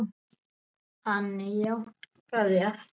Hann jánkaði aftur.